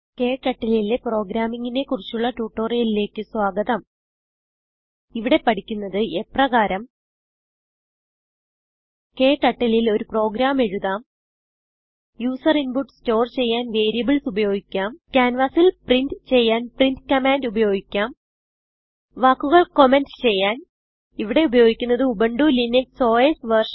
KTurtleലെ programming നെ കുറിച്ചുള്ള ട്യൂട്ടോറിയലിലേക്ക് സ്വാഗതം ഇവിടെ പഠിക്കുന്നത്എപ്രകാരം KTurtleൽ ഒരു പ്രോഗ്രാം എഴുതാം യൂസർ ഇൻപുട്ട് സ്റ്റോർ ചെയ്യാൻ വേരിയബിൾസ് ഉപയോഗിക്കാം ക്യാൻവാസിൽ പ്രിന്റ് ചെയ്യാൻ പ്രിന്റ് commandഉപയോഗിക്കാം വാക്കുകൾ കമെന്റ് ചെയ്യാൻ ഇവിടെ ഉപയോഗിക്കുന്നത് ഉബുന്റു ലിനക്സ് ഓസ് വെർഷൻ